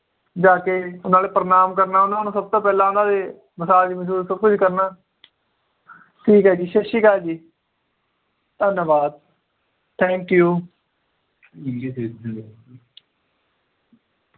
ਜਾ ਕੇ ਨਾਲੇ ਪ੍ਰਣਾਮ ਕਰਨਾ ਉਹਨਾਂ ਨੂੰ ਸਬ ਤੋਂ ਪਹਿਲਾਂ ਉਹਨਾਂ ਦੇ ਮਸਾਜ ਮਸੁਜ ਸਬ ਕੁਛ ਕਰਨਾ ਠੀਕ ਏ ਜੀ ਸਤ ਸ਼੍ਰੀ ਅਕਾਲ ਜੀ ਧੰਨਵਾਦ thank you